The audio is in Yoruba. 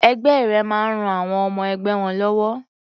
Ẹgbẹ́ rẹ máa ń ran àwọn ọmọ-ẹgbẹ́ wọn lọ́wọ́.